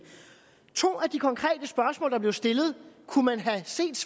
to af de konkrete spørgsmål der blev stillet kunne man have set